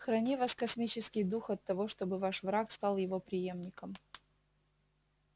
храни вас космический дух от того чтобы ваш враг стал его приёмником